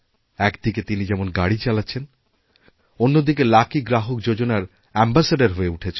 একদিকে তিনি যেমন গাড়ি চালাচ্ছেন অন্যদিকে লাকি গ্রাহকযোজনার অ্যাম্বাসেডর হয়ে উঠেছেন